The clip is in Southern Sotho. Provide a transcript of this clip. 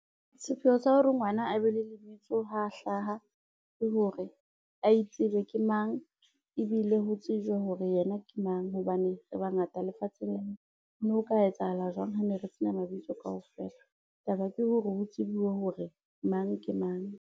Sepheo sa hore ngwana a be le lebitso ha hlaha ke hore a itsebe ke mang, ebile ho tsejwe hore yena ke mang, hobane re bangata lefatsheng lena ho no ho ka etsahala jwang ha ne re sena mabitso kaofela. Taba ke hore ho tsebuwe hore mang ke mang.